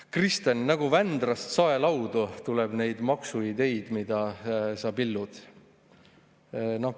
Kristen – nagu Vändrast saelaudu tuleb neid maksuideid, mida sa pillud!